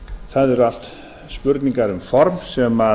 það eru allt spurningar um form sem